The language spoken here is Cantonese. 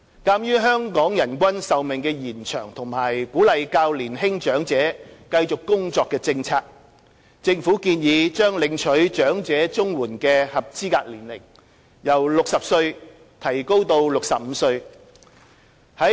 鑒於香港人均壽命延長及鼓勵較年輕長者繼續工作的政策，政府建議把領取長者綜援的合資格年齡由60歲提高至65歲。